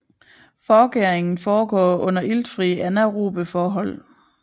Forgæringen foregår under iltfrie anaerobe forhold